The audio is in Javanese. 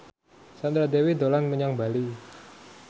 Sandra Dewi dolan menyang Bali